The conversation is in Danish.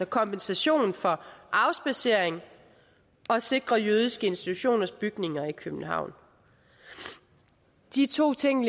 kompensation for afspadsering og at sikre jødiske institutioners bygninger i københavn de to ting